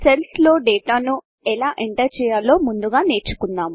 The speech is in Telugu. సెల్స్లోడేటాను ఎలా ఎంటర్ చేయాలో ముందుగా నేర్చుకుందాము